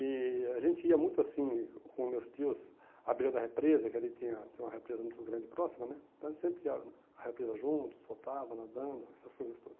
E a gente ia muito assim, com meus tios, a beira da represa, que ali tinha tem uma represa muito grande e próxima né, a gente sempre ia à represa juntos, votava, nadando, essas coisas todas.